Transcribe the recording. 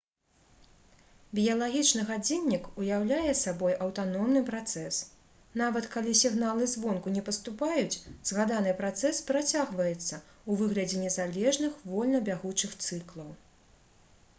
біялагічны гадзіннік уяўляе сабой аўтаномны працэс нават калі сігналы звонку не паступаюць згаданы працэс працягваецца ў выглядзе незалежных вольна бягучых цыклаў